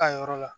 Ka yɔrɔ la